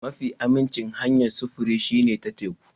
Mafi aminci hanyar sufuri shine ta teku.